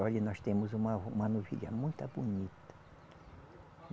Olha, nós temos uma uma novilha muito bonita.